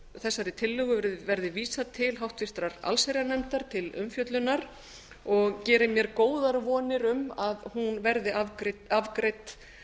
þessari tillögu verði vísað til háttvirtrar allsherjarnefndar til umfjöllunar og geri mér góðar vonir um að hún verði afgreidd